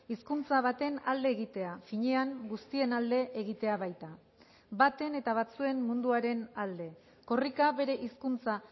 hizkuntza baten alde egitea finean guztien alde egitea baita baten eta batzuen munduaren alde korrika bere hizkuntza